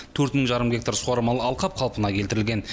төрт мың жарым гектар суармалы алқап қалпына келтірілген